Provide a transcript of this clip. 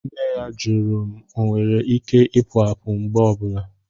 Nne ya jụrụ ma ọnwere Ike Ipu àpu mgbe ọ bụla